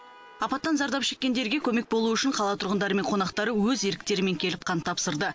апаттан зардап шеккендерге көмек болу үшін қала тұрғындары мен қонақтары өз еріктерімен келіп қан тапсырды